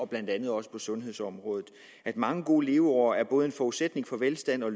blandt andet på sundhedsområdet mange gode leveår er både en forudsætning for velstand og